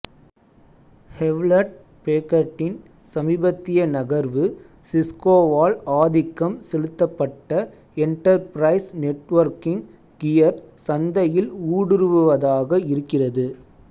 Hewlett பேக்கர்டின் சமீபத்திய நகர்வு சிஸ்கோவால் ஆதிக்கம் செலுத்தப்பட்ட எண்டர்பிரைஸ் நெட்வொர்க்கிங் கியர் சந்தையில் ஊடுருவுவதாக இருக்கிறது